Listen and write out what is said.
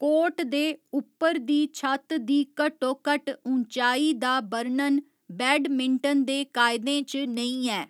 Court दे उप्पर दी छत दी घट्टोघट्ट ऊँचाई दा बर्णन बैडमिँटन दे कायदें च नेईं ऐ।